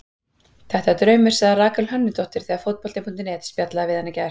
Þetta er draumur, sagði Rakel Hönnudóttir þegar Fótbolti.net spjallaði við hana í gær.